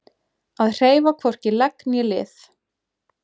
Að hreyfa hvorki legg né lið